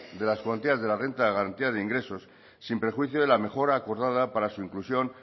de las cuantías de la renta de garantía de ingresos sin prejuicio de la mejora acordada para su inclusión